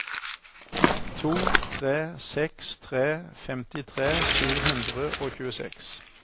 to tre seks tre femtitre sju hundre og tjueseks